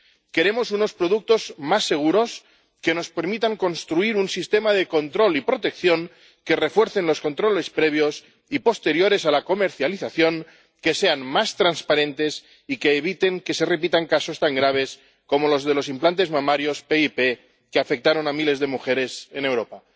Queremos unos productos más seguros que nos permitan construir un sistema de control y protección que refuerce los controles previos y posteriores a la comercialización, que sea más transparentes y que evite que se repitan casos tan graves como los de los implantes mamarios PIP que afectaron a miles de mujeres en Europa.